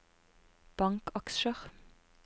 bankaksjer